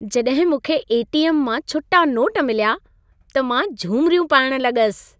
जॾहिं मूंखे ए.टी.एम. मां छुटा नोट मिलिया, त मां झुमिरियूं पाइण लॻसि।